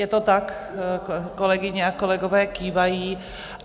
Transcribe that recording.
Je to tak, kolegyně a kolegové kývají.